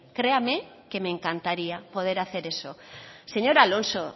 créame que me encantaría poder hacer eso señor alonso